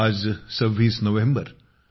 आज 26 नोव्हेंबर